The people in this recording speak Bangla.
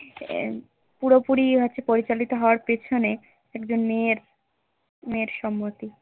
পুরোপুরি হচ্ছে পরিচালিত হওয়ার পেছনে একজন মেয়ের মেয়ের সম্মতি